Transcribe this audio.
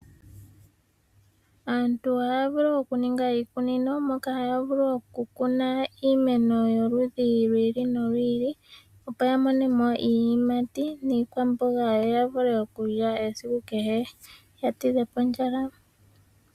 Aantu ohaya vulu okuninga iikunino mokahaya vulu oku kuna iimeno yoludhi lwi ili nolwi ili, opo ya mone mo iiyimati niikwamboga, yo ya vule okulya esiku kehe, ya tidhe po ondjala.